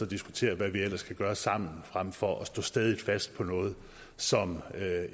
diskutere hvad vi ellers kan gøre sammen frem for at man står stædigt fast på noget som